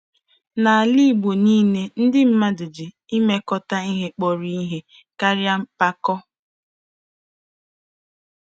N'ala Igbo niile, ndị mmadụ ji mmekọta ihe kpọrọ ihe karịa mpako.